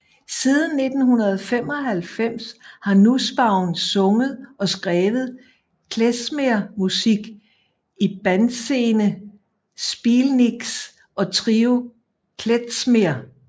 Siden 1995 har Nussbaum sunget og skrevet klezmermusik i bandsene Spielniks og Trio Klezmer